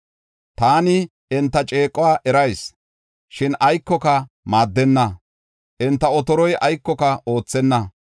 Ta enta ceequwa erayis; shin aykoka maaddenna; enta otoroy aykoka oothenna.